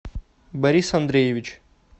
борис андреевич